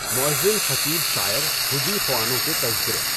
مؤذن خطیب شاعر حدی خوانوں کے تذکرے